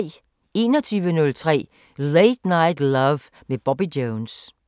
21:03: Late Night Love med Bobby Jones